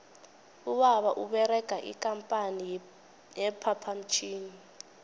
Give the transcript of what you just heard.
ubaba uberega ikampani ye phaphamtjhini